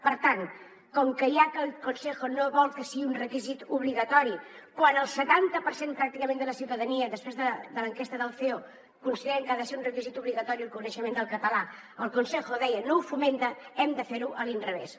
per tant com que ja que el consejo no vol que sigui un requisit obligatori quan el setanta per cent pràcticament de la ciutadania després de l’enquesta del ceo considera que ha de ser un requisit obligatori el coneixement del català el consejo deia no ho fomenta hem de fer ho a l’inrevés